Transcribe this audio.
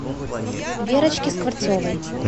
верочке скворцовой